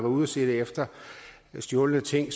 ude at se efter stjålne ting